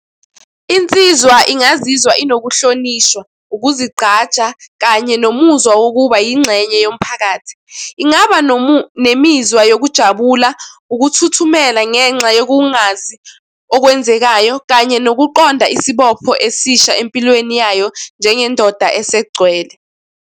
Insizwa ingazizwa inokuhlonishwa, ukuzigqaja kanye nomuzwa wokuba yingxenye yomphakathi. Ingaba nemizwa yokujabula, ukuthuthumela ngenxa yokungazi okwenzekayo kanye nokuqonda isibopho esisha empilweni yayo njengendoda esegcwele.